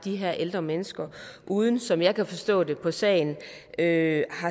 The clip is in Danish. her ældre mennesker uden som jeg kan forstå det på sagen at